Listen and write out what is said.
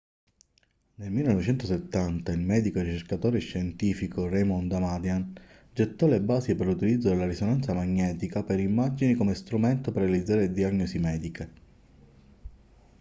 nel 1970 il medico e ricercatore scientifico raymond damadian gettò le basi per l'utilizzo della risonanza magnetica per immagini come strumento per realizzare diagnosi mediche